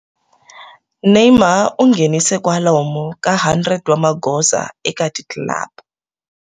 Neymar u nghenise kwalomu ka 100 wa magoza eka ti club.